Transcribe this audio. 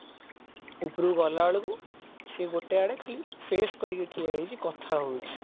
ଉପରକୁ ଗଲା ବେଳକୁ ସେ ଗୋଟେ ଆଡକୁ ଖାଲି face କରିକି ଠିଆ ହେଇଛି କଥା ହଉଛି